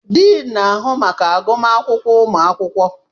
Diin n'ahụ maka agụmakwụkwọ ụmụ akwụkwọ.